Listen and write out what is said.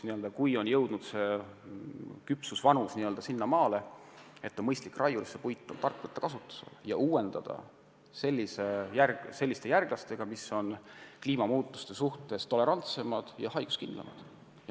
Kui puistu on jõudnud küpsusvanuseni, siis on mõistlik raiuda ja võtta puit kasutusele ning uuendada puistut selliste järglastega, mis on kliimamuutuste suhtes tolerantsemad ja haiguskindlamad.